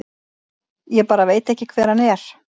Ég bara veit hver hann er.